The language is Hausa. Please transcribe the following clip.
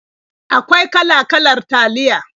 Akwai kala-kalar taliya.